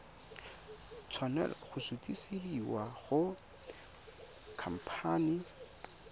tshwanela go sutisediwa go khamphane